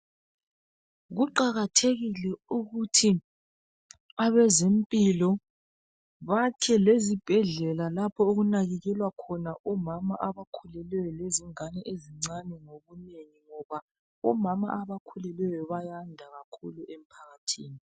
Kuqakathekile ukuthi abezempilo bakhe izibhedlela lapho okunakekelwa khona omama abakhulelweyo lengane ezincane ngobunengi ngoba omama abakhulelweyo bayanda emphakathini.